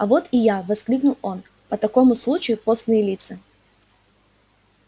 а вот и я воскликнул он по такому случаю постные лица